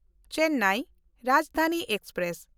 Chennai Rajdhani express